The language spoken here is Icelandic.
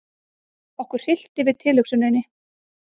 Okkur hryllti við tilhugsuninni.